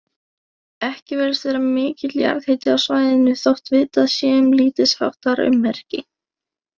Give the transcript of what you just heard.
Ekki virðist vera mikill jarðhiti á svæðinu, þótt vitað sé um lítilsháttar ummerki.